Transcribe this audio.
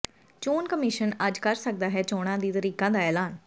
ਚੋਣ ਕਮਿਸ਼ਨ ਅੱਜ ਕਰ ਸਕਦਾ ਹੈ ਚੋਣਾਂ ਦੀ ਤਰੀਕਾਂ ਦਾ ਐਲਾਨ